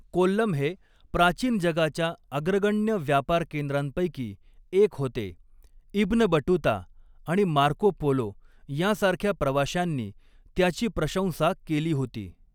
कोल्लम हे प्राचीन जगाच्या अग्रगण्य व्यापार केंद्रांपैकी एक होते, इब्न बटूता आणि मार्को पोलो यांसारख्या प्रवाश्यांनी त्याची प्रशंसा केली होती.